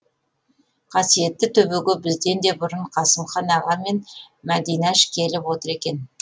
қасиетті төбеге бізден де бұрын қасымхан аға мен мәдинаш келіп отыр екен